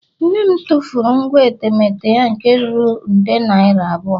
Nne m tụfuru ngwa etemeete ya nke ruru nde naira abụọ